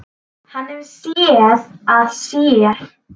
Hann hefur SÉÐ AÐ SÉR.